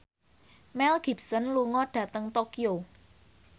Mel Gibson lunga dhateng Tokyo